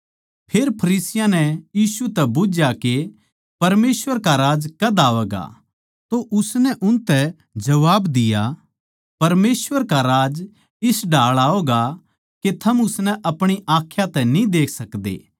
फेर फरीसियाँ नै यीशु तै बुझ्झया के परमेसवर का राज्य कद आवैगा तो उसनै उनतै जबाब दिया परमेसवर का राज्य इस ढाळ आवैगा के थम उसनै अपणी आँखां तै न्ही देख सकदे